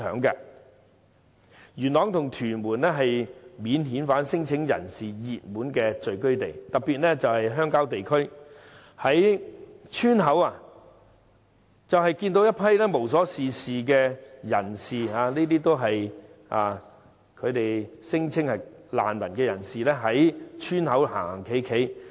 元朗及屯門是免遣返聲請人士的熱門聚居地，特別是鄉郊地區，人們會看到一批聲稱是難民，無所事事的人在村口流連。